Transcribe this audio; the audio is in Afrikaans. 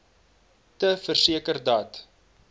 te verseker dat